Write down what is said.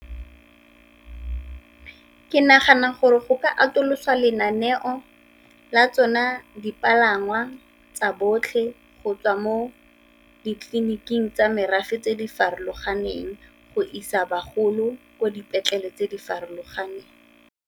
Ke nagana gore go ka atoloswa lenaneo la tsone dipalangwa tsa botlhe go tswa mo ditleliniking tsa merafe tse di farologaneng, go isa bagolo ko dipetlele tse di farologaneng.